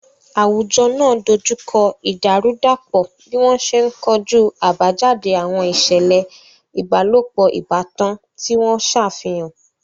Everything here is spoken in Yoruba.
Àwùjọ náà dojú kọ ìdàrúdàpọ̀ bí wọ́n ṣe ń kojú àbájáde àwọn ìṣẹ̀lẹ̀ ìbálòpọ̀ ìbátan tí wọ́n ṣàfihàn.